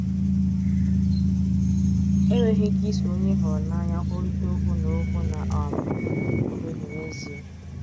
Enweghị ike iso onye ị hụrụ n’anya kwurịta okwu na okwu na um - akụda obi n’ezie.